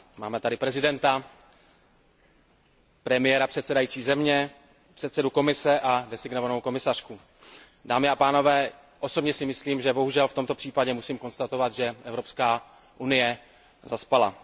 Máme tady prezidenta, premiéra předsedající země, předsedu Komise a jmenovanou komisařku. Dámy a pánové, osobně si myslím, že v tomto případě musím konstatovat, že Evropská unie zaspala.